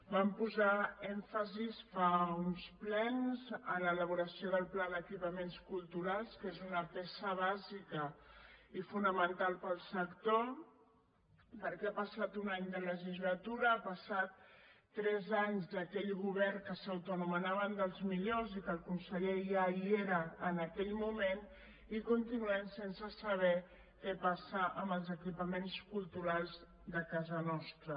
vam posar èmfasi fa uns plens en l’elaboració del pla d’equipaments culturals que és una peça bàsica i fonamental per al sector perquè ha passat un any de legislatura han passat tres anys d’aquell govern que s’autoanomenava dels millors i que el conseller ja hi era en aquell moment i continuem sense saber què passa amb els equipaments culturals de casa nostra